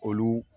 Olu